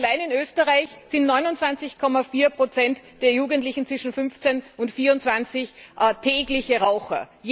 Allein in Österreich sind 29,4 der Jugendlichen zwischen 15 und 24 tägliche Raucher.